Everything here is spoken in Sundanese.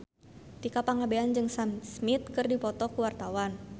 Tika Pangabean jeung Sam Smith keur dipoto ku wartawan